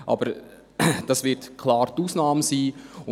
Aber dies wird die Ausnahme sein.